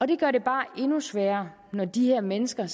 det gør det bare endnu sværere når de her mennesker